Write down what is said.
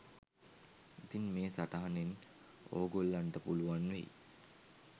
ඉතින් මේ සටහනෙන් ඕගොල්ලන්ට පුලුවන් වෙයි